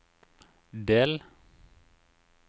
del